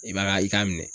I b'a ka i k'a minɛ